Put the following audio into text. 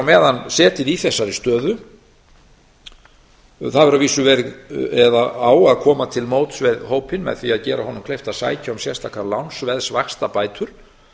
meðan setið í þessari stöðu það hefur að vísu verið eða á að koma á móti við hópinn með því að gera honum kleift að sækja um sérstaka lánsveðsvaxtabætur